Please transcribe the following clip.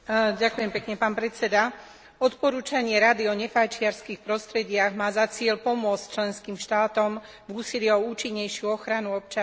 Odporúčanie Rady o nefajčiarskych prostrediach má za cieľ pomôcť členským štátom v úsilí o účinnejšiu ochranu občanov pred tabakovým dymom.